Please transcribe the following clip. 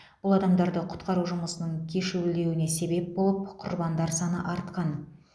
бұл адамдарды құтқару жұмысының кешуілдеуіне себеп болып құрбандар саны артқан